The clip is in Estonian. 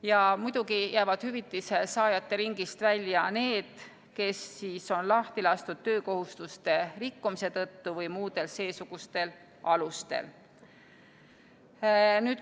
Ja muidugi jäävad hüvitise saajate ringist välja need, kes on lahti lastud töökohustuste rikkumise tõttu või muudel seesugustel alustel.